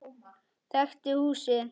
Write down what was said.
Þekkti húsið.